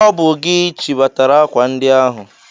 Ọ bụ gị chịbatara akwa ndi ahụ!